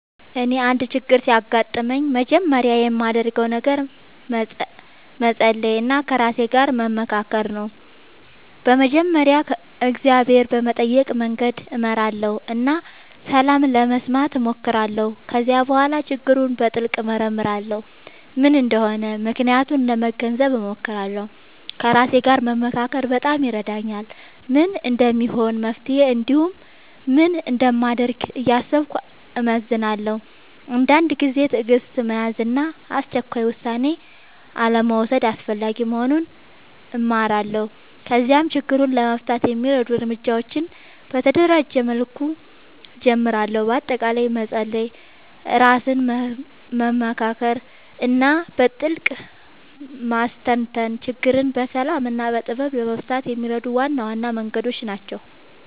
እኔ አንድ ችግር ሲያጋጥምኝ መጀመሪያ የማደርገው ነገር መጸሎት እና ከራሴ ጋር መመካከር ነው። በመጀመሪያ እግዚአብሔርን በመጠየቅ መንገድ እመራለሁ እና ሰላም ለመስማት እሞክራለሁ። ከዚያ በኋላ ችግሩን በጥልቅ እመርመራለሁ፤ ምን እንደሆነ ምክንያቱን ለመገንዘብ እሞክራለሁ። ከራሴ ጋር መመካከር በጣም ይረዳኛል፤ ምን እንደሚሆን መፍትሄ እንዲሁም ምን እንደማደርግ እያሰብኩ እመዝናለሁ። አንዳንድ ጊዜ ትዕግሥት መያዝ እና አስቸኳይ ውሳኔ አልመውሰድ አስፈላጊ መሆኑን እማራለሁ። ከዚያም ችግሩን ለመፍታት የሚረዱ እርምጃዎችን በተደራጀ መልኩ እጀምራለሁ። በአጠቃላይ መጸሎት፣ ራስን መመካከር እና በጥልቅ ማስተንተን ችግርን በሰላም እና በጥበብ ለመፍታት የሚረዱ ዋና ዋና መንገዶች ናቸው።